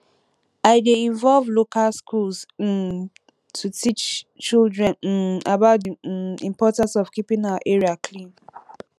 i dey involve local schools um to teach children um about di um importance of keeping our area clean